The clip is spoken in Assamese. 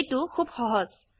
এইটো খুব সহজ